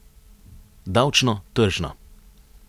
Davčno, tržno.